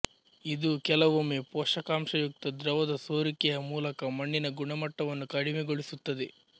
ಇದು ಕೆಲವೊಮ್ಮೆ ಪೋಷಕಾಂಶಯುಕ್ತ ದ್ರವದ ಸೋರಿಕೆಯ ಮೂಲಕ ಮಣ್ಣಿನ ಗುಣಮಟ್ಟವನ್ನು ಕಡಿಮೆಗೊಳಿಸುತ್ತದೆ